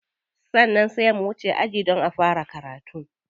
Sannan sai wuce aji don a fara karatu.